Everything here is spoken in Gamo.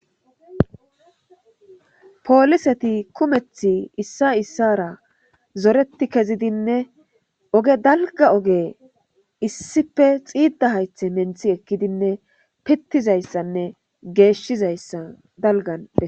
pooliseti kumeth issa issara zoreti kezidinne oge dalga oge issife xiidda haythe menthi ekkidinne pittizayssanne geeshshizayssa dalgand